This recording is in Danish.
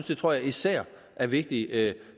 det tror jeg især er vigtigt